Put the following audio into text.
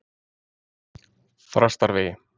Þrastarvegi